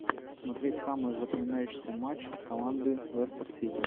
смотреть самые запоминающиеся матч команды лестер сити